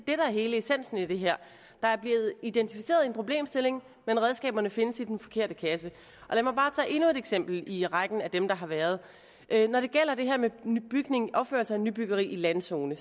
er hele essensen i det her der er blevet identificeret en problemstilling men redskaberne findes i den forkerte kasse lad mig bare tage endnu et eksempel i rækken af dem der har været når det gælder det her med opførelse af nybyggeri i landzone